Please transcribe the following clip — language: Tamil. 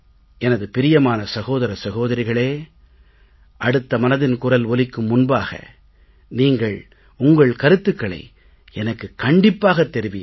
எனது பிரியமான சகோதர சகோதரிகளே அடுத்த மனதின் குரல் ஒலிக்கும் முன்பாக நீங்கள் உங்கள் கருத்துக்களை எனக்குக் கண்டிப்பாகத் தெரிவியுங்கள்